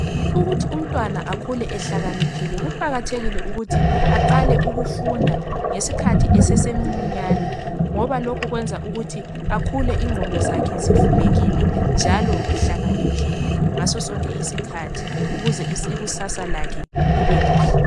Ukuthi umntwana akhule ehlakaniphile kuqakathekile ukuthi aqale ukufunda ngesikhathi esesemncinyane ngoba lokhu kwenza ukuthi akhule ingqondo zakhe zivulekile njalo ehlakaniphile ngaso sonke isikhathi ukuze ikusasa lakhe libelihle.